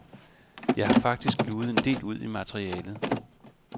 Jeg har faktisk luget en del ud i materialet.